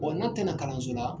Wa n'a tɛ na kalanso la